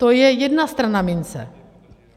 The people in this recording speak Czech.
To je jedna strana mince.